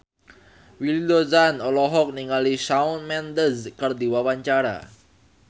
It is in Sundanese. Willy Dozan olohok ningali Shawn Mendes keur diwawancara